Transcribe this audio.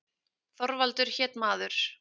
Þorvaldur hét maður.